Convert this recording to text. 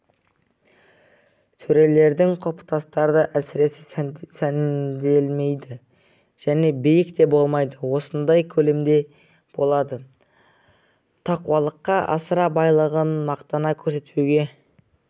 төрелердің құлпытастары әсіре сәнделмейді және биік те болмайды осындай көлемде болады тақуалыққа асыра байлығын мақтана көрсетпеуге